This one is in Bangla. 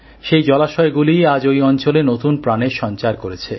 সেই জলাশয়গুলিই আজ ওই অঞ্চলে নতুন প্রাণের সঞ্চার করেছে